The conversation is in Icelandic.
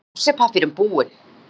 . er nú klósettpappírinn búinn.